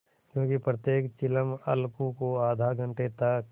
क्योंकि प्रत्येक चिलम अलगू को आध घंटे तक